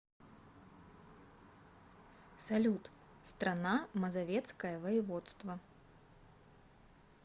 салют страна мазовецкое воеводство